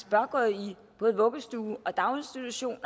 bør gå i både vuggestue og daginstitution